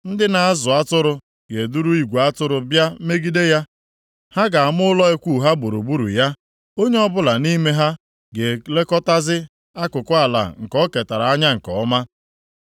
Ndị na-azụ atụrụ ga-eduru igwe atụrụ bịa megide ya. Ha ga-ama ụlọ ikwu ha gburugburu ya. Onye ọbụla nʼime ha ga-elekọtazi akụkụ ala nke o ketara anya nke ọma.